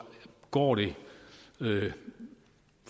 går det